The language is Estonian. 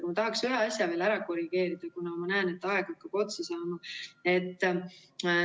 Aga ma tahaksin ühe asja ära korrigeerida, kuna ma näen, et aeg hakkab otsa saama.